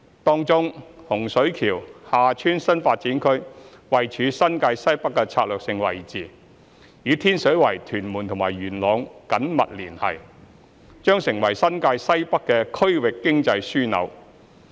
當中，洪水橋/廈村新發展區位處新界西北的策略性位置，與天水圍、屯門和元朗緊密連繫，將成為新界西北的區域經濟樞紐。